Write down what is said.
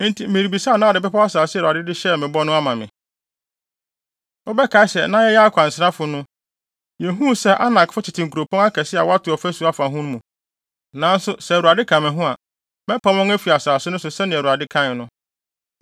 Enti merebisa na wode bepɔw asase a Awurade de hyɛɛ me bɔ no ama me. Wobɛkae sɛ na yɛyɛ akwansrafo no, yehuu sɛ Anakfo tete nkuropɔn akɛse a wato ɔfasu afa ho mu. Nanso sɛ Awurade ka me ho a, mɛpam wɔn afi asase no so sɛnea Awurade kae no.”